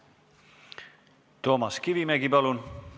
Toomas Kivimägi, palun!